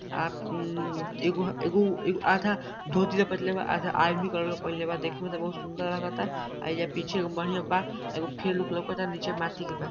आ उ एगो एगो उ आधा धोती लपेटले बा आधा आर्मी कलर के पहनले बा। देखे में त बहुत सुन्दर लगता एजा पीछे एगो बढियांबा। एगो फील्ड लउकता नीचे माटी के बा।